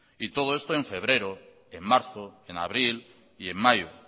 y todo esto en febrero en marzo en abril y en mayo